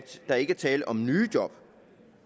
der ikke er tale om nye job